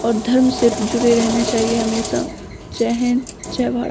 और धर्म से जुड़े रहना चाहिए हमेशा जय हिन्द जय भारत।